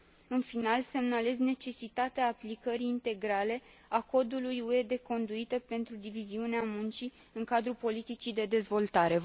În final, semnalez necesitatea aplicării integrale a codului UE de conduită pentru diviziunea muncii în cadrul politicii de dezvoltare.